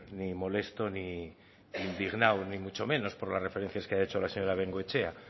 ni molesto ni indignado ni mucho menos por las referencias que ha hecho la señora bengoechea